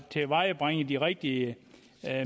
tilvejebringe de rigtige